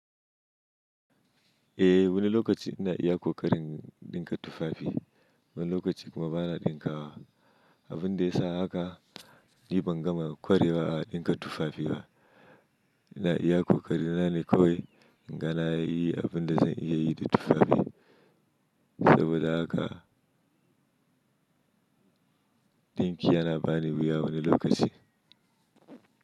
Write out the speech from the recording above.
Eh wani lokaci ina iya ƙoƙarin ɗinka tufafi. Wani lokaci kuma bana ɗinkawa. Abin da ya sa haka ni bangama kwarewa a ɗinka tufafi ba. Ina iya ƙoƙari na ne kawai na yi abin da zan iya yi da tufafi. Saboda haka ɗinki yana bani wuya wani lokaci.